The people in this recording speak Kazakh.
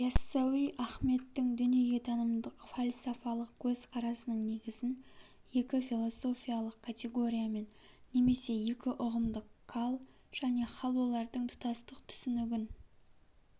яссауи ахметтің дүниетанымдык фалсафалық көзқарасының негізін екі философиялық категория мен немесе екі ұғымдык кал және халолардың тұтастык түсінігін